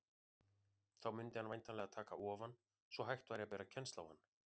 Þá mundi hann væntanlega taka ofan, svo hægt væri að bera kennsl á hann.